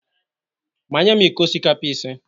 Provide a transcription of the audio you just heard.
Manye m iko osikapa ise